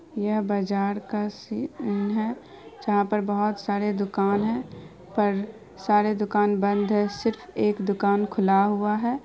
यह बाजार का सीन है जहाँ पर बहुत सारे दुकान है पर सारे दुकान बंद है सिर्फ एक दुकान खुला हुआ है।